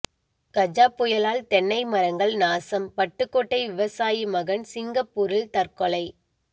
கஜா புயலால் தென்னை மரங்கள் நாசம் பட்டுக்கோட்டை விவசாயி மகன் சிங்கப்பூரில் தற்கொலை